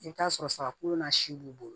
I bɛ t'a sɔrɔ saga kolo na si b'u bolo